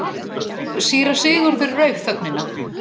Síra Sigurður rauf þögnina.